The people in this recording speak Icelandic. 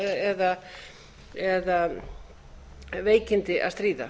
fötlun eða veikindi að stríða